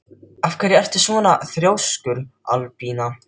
Af hverju ertu svona þrjóskur, Albína?